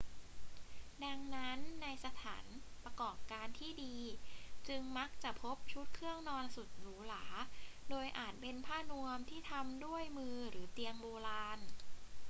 ดังนั้น ในสถานประกอบการที่ดีจึงมักจะพบชุดเครื่องนอนสุดหรูหรา โดยอาจจะเป็นผ้านวมที่ทำด้วยมือหรือเตียงโบราณ